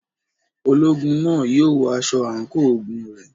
Ológun náà yóò wọ aṣọ àǹkóò ogun rẹ̀.